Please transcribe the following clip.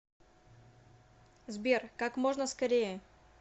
сбер как можно скорее